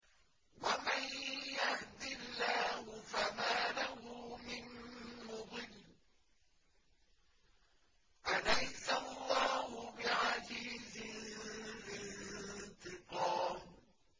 وَمَن يَهْدِ اللَّهُ فَمَا لَهُ مِن مُّضِلٍّ ۗ أَلَيْسَ اللَّهُ بِعَزِيزٍ ذِي انتِقَامٍ